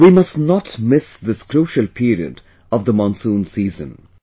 We must not to miss this crucial period of the monsoon season